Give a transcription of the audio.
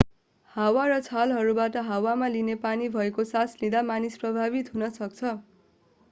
हावा र छालहरूबाट हावामा लिने पानी भएको सास लिँदा मानिस प्रभावित हुन सक्छ